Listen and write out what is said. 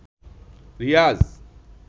Riaz